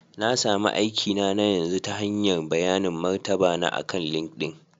Na sami aikina na yanzu ta hanyar bayanin martaba na akan LinkedIn